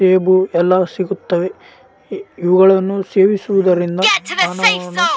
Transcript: ಸೇಬು ಎಲ್ಲ ಸಿಗುತ್ತವೆ ಇವ ಇವುಗಳನ್ನು ಸೇವಿಸುವುದರಿಂದ